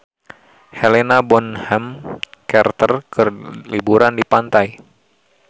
Helena Bonham Carter keur liburan di pantai